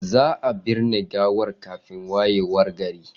Za a binne gawar kafin wayewar gari.